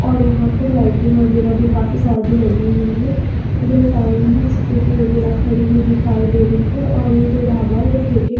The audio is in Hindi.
और यहां पे लाइटिंग वगैरह भी काफी सारी लगी हुई है इधर साइड में स्कूटी वगैरह खड़ी हुई दिखाई दे रही है और ये जो ढाबा है वो ठेके--